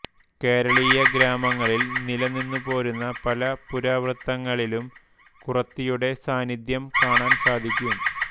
കേരളീയ ഗ്രാമങ്ങളിൽ നിലനിന്നു പോരുന്ന് പല പുരാവൃത്തങ്ങളിലും കുറത്തിയുടെ സാന്നിദ്ധ്യം കാണാൻ സാധിക്കും